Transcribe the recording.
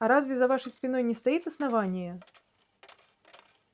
и разве за вашей спиной не стоит основание